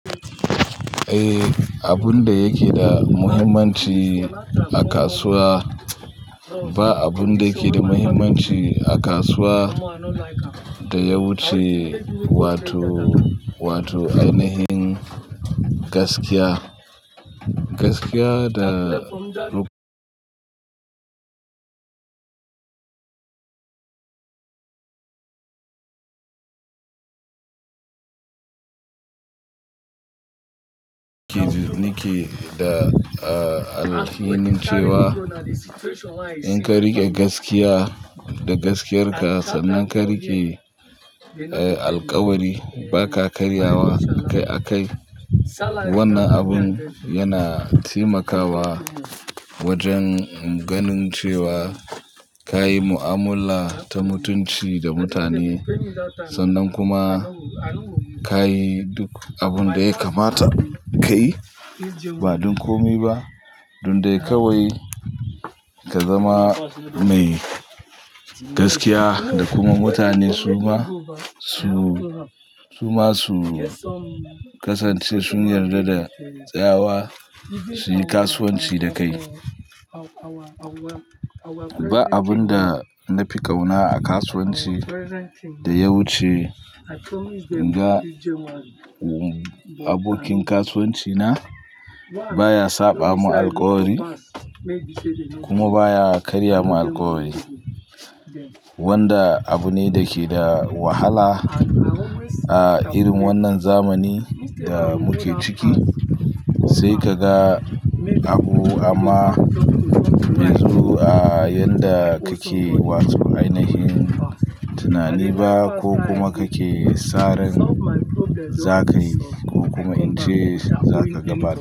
Eh, abunda yake da muhimmanci a kasuwa, ba abunda yake da muhimmanci a kasuwa da ya wuce wato, wato ainihin gaskiya. Gaskiya da nike da, ah, alhinin cewa inka riƙe gaskiya da gaskiyarka sannan ka riƙe, eh, alƙawari baka karyawa a kai a kai. Wannan abun yana taimakawa wajen ganin cewa kayi mu'amala ta mutunci da mutane sannan kuma ka yi duk abunda yakamata kayi ba don kome ba. Don dai kawai ka zama mai gaskiya da kuma mutane suma su, suma su kasance sun yarda da tsawa suyi kasuwanci da kai. Ba abun da na fi ƙauna a kasuwanci da ya wuce ga abokin kasuwanci na baya saɓa mu alƙawari kuma baya karya mu alƙawari. Wanda abu ne da ke da wahala a irin wannan zamani da muke ciki sai kaga abu amma yanzu a yadda kake wato ainihin tunani ba ko kuma kake saran zakayi ko kuma ince zaka gabatar.